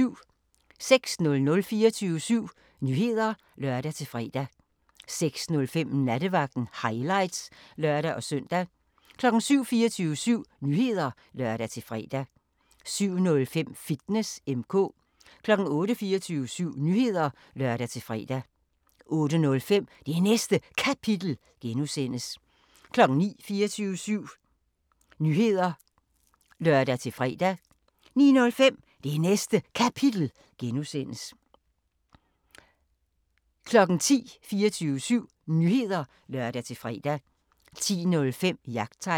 06:00: 24syv Nyheder (lør-fre) 06:05: Nattevagten Highlights (lør-søn) 07:00: 24syv Nyheder (lør-fre) 07:05: Fitness M/K 08:00: 24syv Nyheder (lør-fre) 08:05: Det Næste Kapitel (G) 09:00: 24syv Nyheder (lør-fre) 09:05: Det Næste Kapitel (G) 10:00: 24syv Nyheder (lør-fre) 10:05: Jagttegn